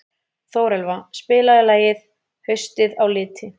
Þórelfa, spilaðu lagið „Haustið á liti“.